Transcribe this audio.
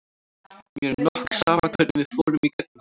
En mér er nokk sama hvernig við fórum í gegnum þetta.